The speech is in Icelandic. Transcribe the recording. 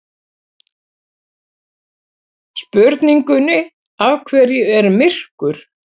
Spurningunni Af hverju er myrkur?